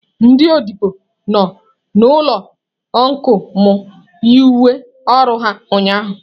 Ndị odibo nọ n'ụlọ ọncụl m, yi uwe ọrụ ha ụnyahụ